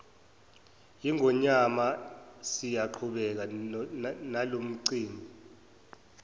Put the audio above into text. yingonyama siyaqhubekile nalomcimbi